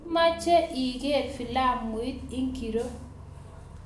Imache iger filamuit ingiro